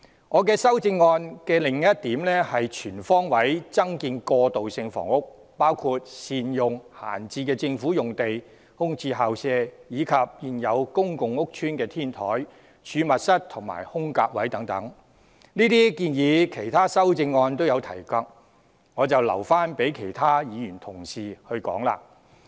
我修正案的另一項建議是全方位增建過渡性房屋，包括善用閒置政府用地、空置校舍，以及現有公共屋邨的天台、儲物室和"空格位"等，這些建議在其他修正案也有提及，就留待其他同事說明。